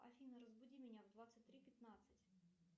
афина разбуди меня в двадцать три пятнадцать